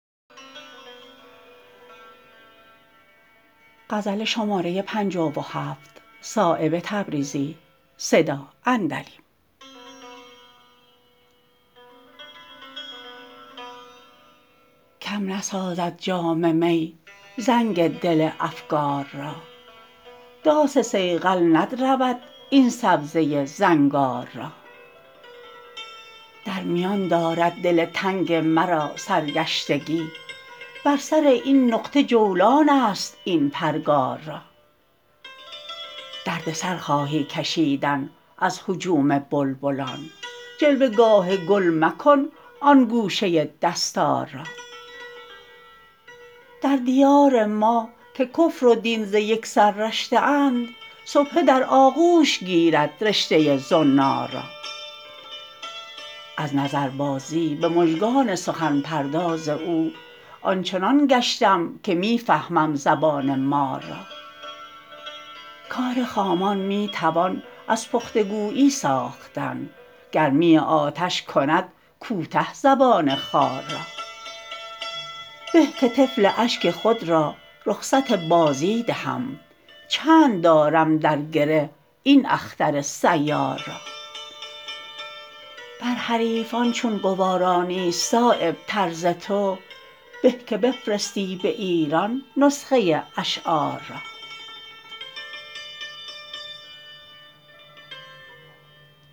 کم نسازد جام می زنگ دل افگار را داس صیقل ندرود این سبزه زنگار را در میان دارد دل تنگ مرا سرگشتگی بر سر این نقطه جولان است این پرگار را دردسر خواهی کشیدن از هجوم بلبلان جلوه گاه گل مکن آن گوشه دستار را در دیار ما که کفر و دین ز یک سر رشته اند سبحه در آغوش گیرد رشته زنار را از نظر بازی به مژگان سخن پرداز او آنچنان گشتم که می فهمم زبان مار را کار خامان می توان از پخته گویی ساختن گرمی آتش کند کوته زبان خار را به که طفل اشک خود را رخصت بازی دهم چند دارم در گره این اختر سیار را بر حریفان چون گوارا نیست صایب طرز تو به که بفرستی به ایران نسخه اشعار را